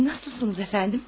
Nasılsınız əfəndim?